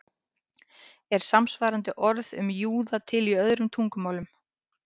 Er samsvarandi orð um júða til í öðrum tungumálum?